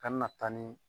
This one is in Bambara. A na taa ni